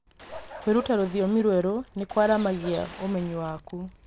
Kwĩruta rũthiomi rwerũ nĩ kũaramagia ũmenyi waku.